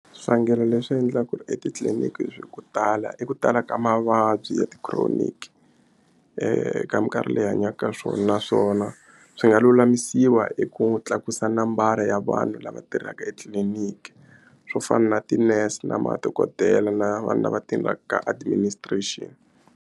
Swivangelo leswi endlaka ku ri etitliliniki ko tala i ku tala ka mavabyi ya ti-chronic eka mikarhi leyi hi hanyaka ka swona naswona swi nga lulamisiwa hi ku tlakusa nambara ya vanhu lava tirhaka etliliniki swo fana na ti-nurse na madokodela na vanhu lava tirhaka ka administration.